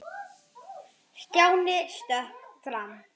Hann þagnaði allt í einu.